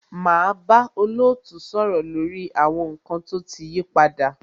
Máa bá olootu sọ̀rọ̀ lórí àwọn nkan tó ti yí padà.